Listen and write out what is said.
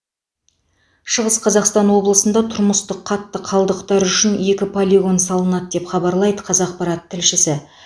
шығыс қазақстан облысында тұрмыстық қатты қалдықтар үшін екі полигон салынады деп хабарлайды қазақпарат тілшісі